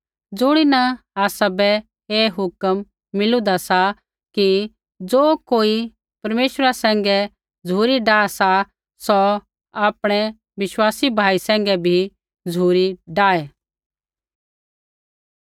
ज़ुणीन आसाबै ऐ हुक्म मिलीदी सा कि ज़ो कोई परमेश्वरा सैंघै झ़ुरी डाह सा सौ आपणै विश्वासी भाई सैंघै भी झ़ुरी डाहै